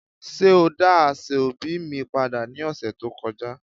Ṣe o da aseobi mi pada ni ọsẹ to kọja?